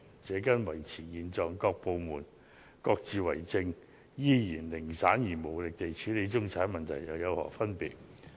這跟維持現狀，各部門各自為政，依然零散無力地處理中產問題又有何分別呢？